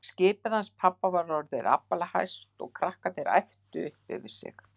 Skipið hans pabba var orðið aflahæst og krakkarnir æptu upp yfir sig.